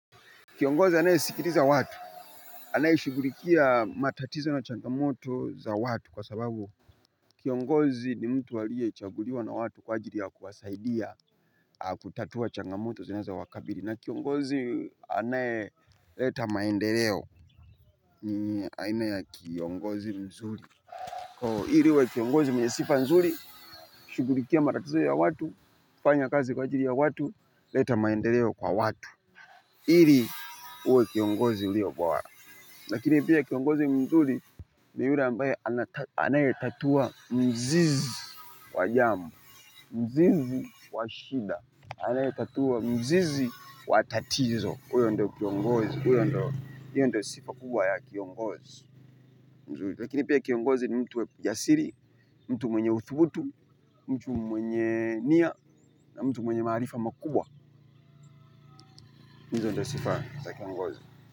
Kiongozi anaye sikiliza watu. Anaye shughulikia matatizo na changamoto za watu kwa sababu kiongozi ni mtu aliye chaguliwa na watu kwa ajili ya kuwasaidia kutatua changamoto zinazo wakabili. Na kiongozi anayeleta maendeleo ni aina kiongozi mzuri. Hivo ili uwe kiongozi mwenye sifa mzuri, shughulikia matatizo ya watu, kufanya kazi kwa ajili ya watu, leta maendeleo kwa watu. Hili uwe kiongozi ulio bora. Lakini pia kiongozi mzuri ni yule ambaye, anayetatua mzizi wa jambo. Mzizi wa shida. Anayetatua mzizi wa tatizo. Huyo ndo kiongozi, hio ndio sifa kubwa ya kiongozi. Lakini pia kiongozi ni mtu jasiri, mtu mwenye utudhubutu, mtu mwenye nia na mtu mwenye marifa makubwa. Hizo ndo sifa kiongozi.